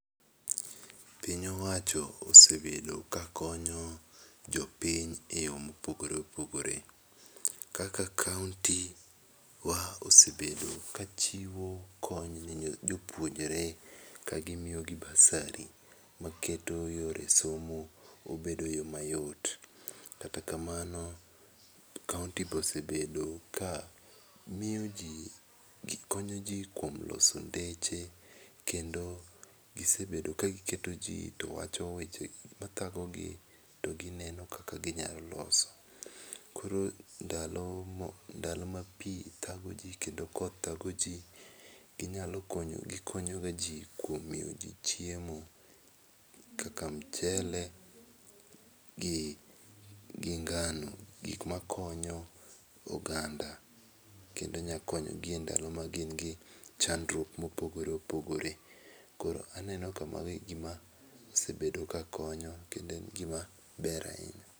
Piny owacho osebedo ka konyo jopiny e yo ma opogore opogore kaka kaunti wa osebedo ka chiwo kony ne jopuonjre ka gi miyo gi basari ma keto yore somo obedo yo mayot. Kata kamono kaunti be osebedo ka miyo ji gi konyo ji kuom loso ndeche kendo gi sebedo ka gi keto ji to wacho weche ma thago gi to gi neno kaka gi nyalo loso. Koro ndalo ma ndalo ma pi thago ji kendo koth thago ji gi nyalo konyo, gi konyo ga ji kuom miyo gi chiemo, kaka mchele gi ngano gik ma konyo oganda kendo nya konyo gi e ndalo ma gin gi chandruok ma opogore opogore aneno ka mano gi ma osebedo ka konyo kendo mano en gi ma ber ahinya.